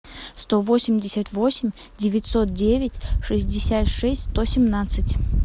сто восемьдесят восемь девятьсот девять шестьдесят шесть сто семнадцать